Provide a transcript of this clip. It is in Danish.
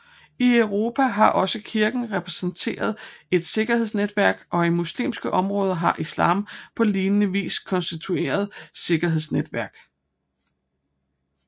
I Europa har også Kirken repræsenteret et sikkerhedsnetværk og i muslimske områder har Islam på lignende vis konstitueret sikkerhedsnetværket